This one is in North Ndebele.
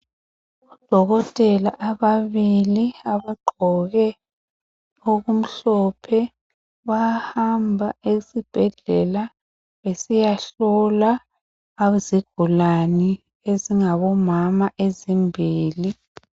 Odokotela ababili abagqoke okumhlophe bayahamba esibhedlela besiyahlola izigulane ezingabomama ezimbili.